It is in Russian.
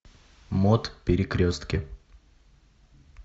мот перекрестки